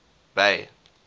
bay